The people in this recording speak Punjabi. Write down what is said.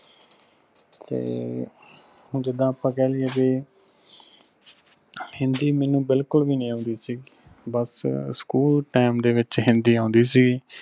ਤੇ ਜਿਦਾਂ ਆਪਾਂ ਕਹਿ ਲਾਈਏ ਕੇ ਹਿੰਦੀ ਮਨੁ ਬਿਲਕੁਲ ਵੀ ਨਹੀਂ ਔਂਦੀ ਸੀ ਬੱਸ ਸਕੂਲ school time ਦੇ ਵਿਚ ਹਿੰਦੀ ਔਂਦੀ ਸੀ।